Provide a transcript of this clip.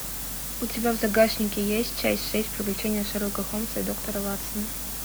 у тебя в загашнике есть часть шесть приключения шерлока холмса и доктора ватсона